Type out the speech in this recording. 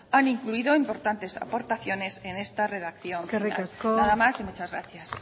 han incluido importantes aportaciones que en esta relación nada más y muchas gracias